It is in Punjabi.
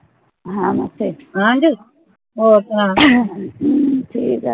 ਹਾਂਜੀ ਹੋਰ ਸੁਨਾ